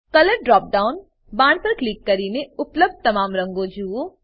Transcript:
colour drop down બાણ પર click કરીને ઉપલબ્ધ તમામ રંગો જુઓ